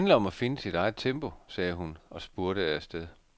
Det handler om at finde sit eget tempo, sagde hun og spurtede afsted.